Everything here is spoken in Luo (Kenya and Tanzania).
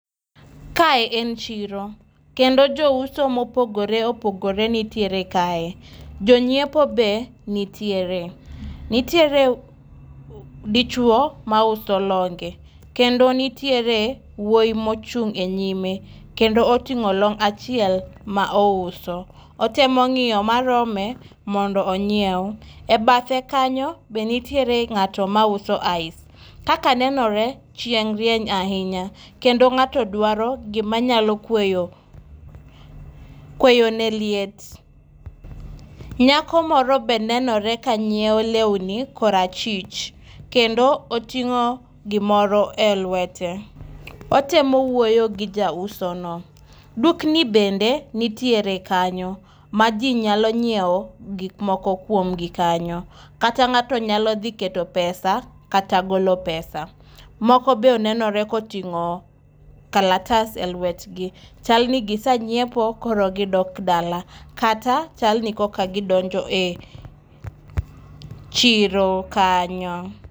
Kae en chiro. Kendo jouso mopogore opogore nitiere kae Jonyiepo be nitiere. Nitiere dichwo mauso longe. Kendo nitiere wuoyi mochung' e nyime, kendo otingó long' achiel ma ouso. Otemo ngíyo marome mondo onyiew. E bathe kanyo be nitiere ngáto mauso ice. Kaka nenore, chieng' rieny ahinya. Kendo ngáto dwaro gima nyalo kweyo kweyo ne liet. Nyako moro be nenore ka nyiewo lewni kor achich. Kendo otingó gimoro e lwete. Otemo wuoyo gi jauso no. Dukni bende nitiere kanyo. Ma ji nyalo nyiewo gik moko kuomgi kanyo. Kata ngáto nyalo dhi keto pesa kata golo pesa. Moko be nenore ka otingó kalatas e lwetgi. Chalni gisenyipo koro gidok dala, kata chal ni koka gidonjo e chiro kanyo.